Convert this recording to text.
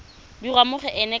dirwa mo go ena ka